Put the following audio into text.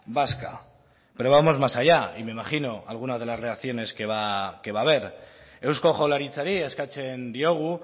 vasca pero vamos más allá y me imagino algunas de las reacciones que va a ver eusko jaurlaritzari eskatzen diogu